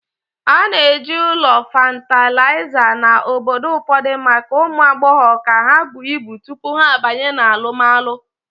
A na-eji ụlọ fatịlaịza na obodo ụfọdụ maka ụmụ agbọghọ ka ha buo ibu tupu ha abanye na alụmalu.